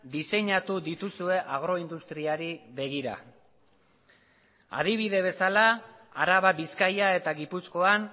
diseinatu dituzue agroindustriari begira adibide bezala araba bizkaia eta gipuzkoan